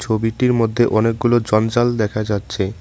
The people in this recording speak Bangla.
ছবিটির মধ্যে অনেকগুলো জঞ্জাল দেখা যাচ্ছে।